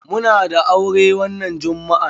Muna da aure wannan jummu'a.